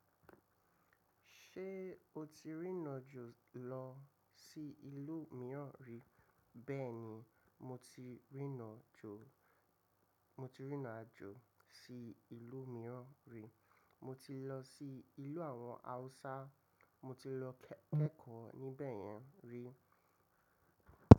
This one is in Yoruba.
Ṣé o ti rìnàjò lọ sí ìlú mìíràn rí? Bẹ́ẹ̀ni, mo ti rìnàjò, mo ti rìnàjò sí ìlú mìíràn rí. Mo ti lọ sí ìlú àwọn Haúsá, mo ti lọ kẹ́kọ̀ọ́ níbẹ̀ yẹn rí.